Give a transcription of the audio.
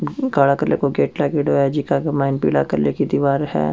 काला कलर को गेट लागेडो है जीका के माइन पिला कलर की दिवार है।